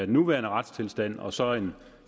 nuværende retstilstand og så en